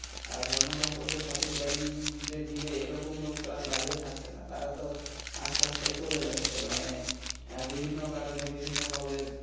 আর ধর্ম সম্পর্কে সঠিক জ্ঞান যে দিবে এরকম লোক তো আর বাহিরে থাকছে না তারা তো আস্তে আস্তে চলে যাচ্ছে মানে আহ বিভিন্ন কারণে বিভিন্নভাবে